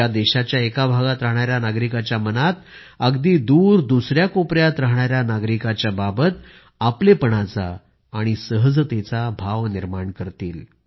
ज्या देशाच्या एका भागात राहणाऱ्या नागरिकांच्या मनात अगदी दूर दुसऱ्या कोपऱ्यात राहणाऱ्या नागरिकांच्या बाबत आपलेपणाचा आणि सहजतेचा भाव निर्माण करतील